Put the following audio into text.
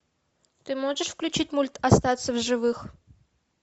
ты можешь включить мульт остаться в живых